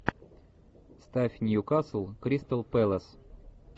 ставь ньюкасл кристал пэлас